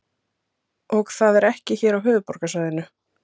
Og það er ekki hér á höfuðborgarsvæðinu?